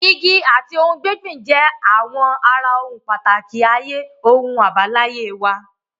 Igi àti ohun gbígbìn jẹ́ àwọn ara ohun pàtàkì ayé ohun àbáláyé wa.